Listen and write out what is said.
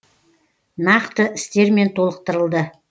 нақты істермен толықтырылды